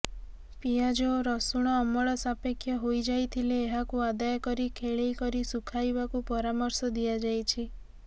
ପିଆଜ ଓ ରସୁଣ ଅମଳ ସାପେକ୍ଷ ହୋଇଯାଇଥିଲେ ଏହାକୁ ଆଦାୟ କରି ଖେଳେଇ କରି ଶୁଖାଇବାକୁ ପରାମର୍ଶ ଦିଆଯାଇଛି